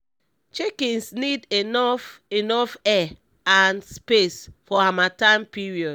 chickens need enough enough air and space for hamattan period